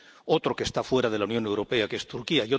otro que está fuera de la Unión Europea, que es Turquía